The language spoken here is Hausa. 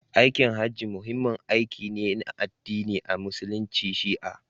Aikin Hajji muhimmin aiki ne na addini a Musulunci Shi'a.